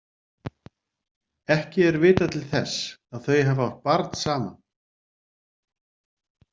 Ekki er vitað til þess að þau hafi átt barn saman.